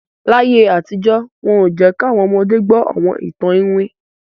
Láyé àtijọ́, wọn ò jẹ́ káwọn ọmọde gbọ́ àwọn ìtàn ìwin